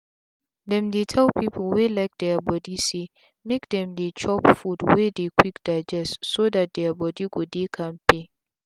them dey tell people wey like their body saymake them dey chop food wey dey quick digestso that their body go dey kampe.